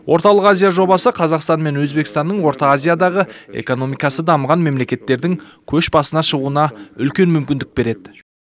орталық азия жобасы қазақстан мен өзбекстанның орта азиядағы экономикасы дамыған мемлекеттердің көш басына шығуына үлкен мүкіндік береді